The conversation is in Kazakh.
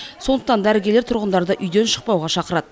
сондықтан дәрігерлер тұрғындарды үйден шықпауға шақырады